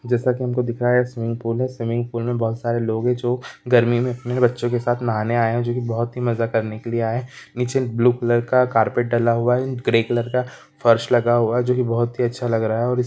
जैसा की हमको दिख रहा है स्विमिंग पूल है स्विमिंग पूल मे बोहत सारी लोग है जो गर्मी में अपने बच्चो के साथ नहाने आए है जो कि बोहत ही मज़ा करने के लिए आए है नीचे ब्लू कलर का कारपेट डला हुआ है ग्र कलर का फर्श लगा हुआ है जो की बोहत ही अच्छा लग रहा है और इस--